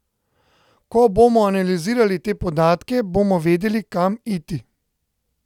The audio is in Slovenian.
Ko bomo analizirali te podatke, bomo vedeli, kam iti.